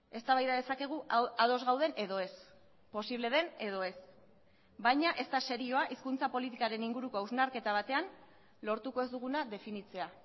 eztabaida dezakegu ados gauden edo ez posible den edo ez baina ez da serioa hizkuntza politikaren inguruko hausnarketa batean lortuko ez duguna definitzea